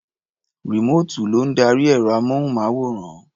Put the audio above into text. Rìmóòtù ló ń darí ẹ̀rọ-amóhùnmáwòrán.